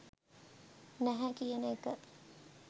නැහැ කියන එක.